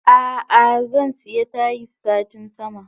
Ah ah zansiya Tayis satin sama.